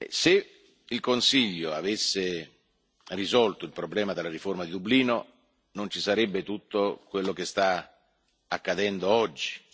se il Consiglio avesse risolto il problema della riforma di Dublino, non ci sarebbe tutto quello che sta accadendo oggi.